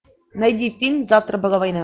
найди фильм завтра была война